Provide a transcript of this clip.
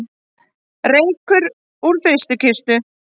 Reykur úr frystikistu